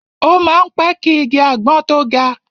O má ń pẹ́ ki igi àgbọn tó ga.